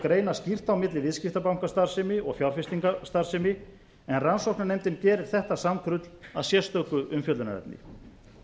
greina skýrt á milli viðskiptabankastarfsemi og fjárfestingarstarfsemi en rannsóknarnefndin gerir þetta samkrull að sérstöku umfjöllunarefni